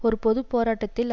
ஒரு பொது போராட்டத்தில்